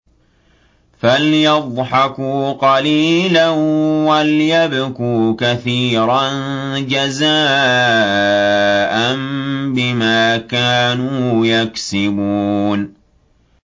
فَلْيَضْحَكُوا قَلِيلًا وَلْيَبْكُوا كَثِيرًا جَزَاءً بِمَا كَانُوا يَكْسِبُونَ